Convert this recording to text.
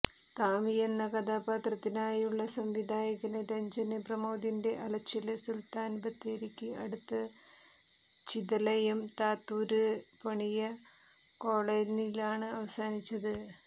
താമിയെന്ന കഥാപാത്രത്തിനായുള്ള സംവിധായകന് രഞ്ജന് പ്രമോദിന്റെ അലച്ചില് സുല്ത്താന് ബത്തേരിക്ക് അടുത്ത് ചിതലയം താത്തൂര് പണിയ കോളനിയിലാണ് അവസാനിച്ചത്